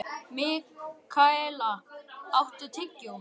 Mikaela, áttu tyggjó?